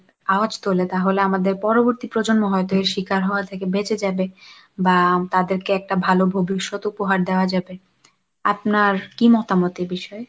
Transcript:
আওয়জ তোলে তাহলে আমাদের পরবর্তী প্রজন্ম হয়তো এই শিকার হওয়া থেকে বেঁচে যাবে বা তাদেরকে একটা ভালো ভবিষ্যৎ উপহার দেওয়া যাবে, আপনার কি মতামত এ বিষয়ে?